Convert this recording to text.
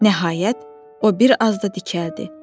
Nəhayət, o bir az da dikəldi.